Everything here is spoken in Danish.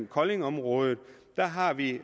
koldingområdet der har vi